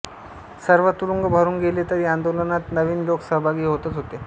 सर्व तुरुंग भरून गेले तरी आंदोलनात नवीन लोक सहभागी होतच होते